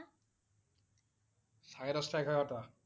সাৰে দহটা এঘাৰটা?